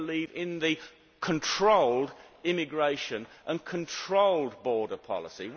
We believe in controlled immigration and controlled border policy.